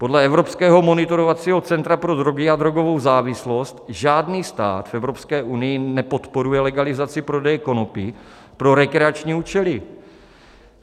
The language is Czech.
Podle evropského monitorovacího centra pro drogy a drogovou závislost žádný stát v Evropské unii nepodporuje legalizaci prodeje konopí pro rekreační účely.